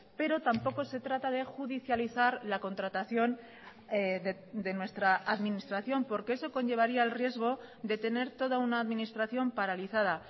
pero tampoco se trata de judicializar la contratación de nuestra administración porque eso conllevaría el riesgo de tener toda una administración paralizada